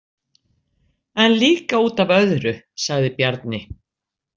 En líka út af öðru, sagði Bjarni.